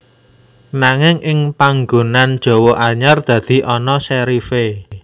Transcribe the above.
Nanging ing panggunan Jawa anyar dadi ana serif é